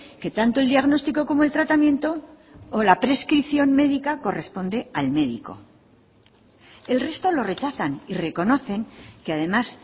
que tanto el diagnóstico como el tratamiento o la prescripción médica corresponde al médico el resto lo rechazan y reconocen que además